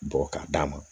Bɔ k'a d'a ma